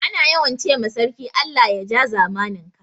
Ana yawan ce ma sarki Allah ya ja zamanin ka